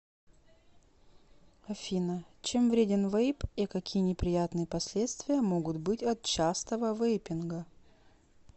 афина чем вреден вейп и какие неприятные последствия могут быть от частого вейпинга